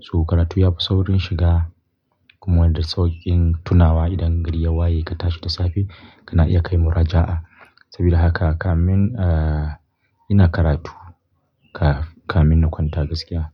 So karatu yafi saurin shiga kuma da sauƙin tunawa idan gari ya waye ka tashi da safe kana iya kai muraja'a. Sabida haka kamin, ah, ina karatu ka, kamin na kwanta gaskiya.